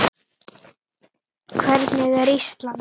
Hvernig er Ísland?